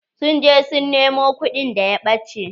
Sun je su nemo kuɗin da ya ɓache.